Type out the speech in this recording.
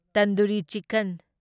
tandoori chicken